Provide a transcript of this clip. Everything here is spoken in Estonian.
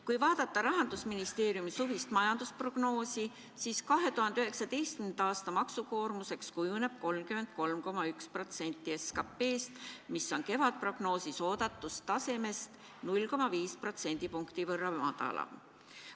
Kui vaadata Rahandusministeeriumi suvist majandusprognoosi, siis 2019. aasta maksukoormuseks kujuneb 33,1% SKT-st, mis on kevadprognoosi põhjal oodatust tasemest 0,5% võrra madalam.